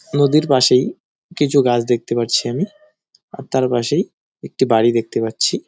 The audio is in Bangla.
নদীর পাশেই কিছু গাছ দেখতে পারছি আমি আর তার পাশেই একটি বাড়ি দেখতে পাচ্ছি ।